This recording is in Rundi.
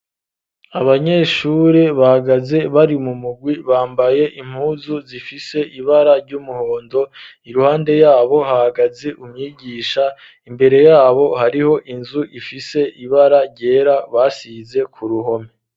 Abanyeshure bahagaze bari mu mugwi, bambaye impuzu zifise ibara ry'umuhondo, iruhande yabo hahagaze umwigisha, imbere yabo hariho inzu ifise ibara ryera basize ku ruhome.